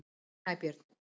Snæbjörn